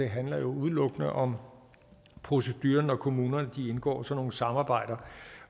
handler udelukkende om proceduren når kommunerne indgår sådan nogle samarbejder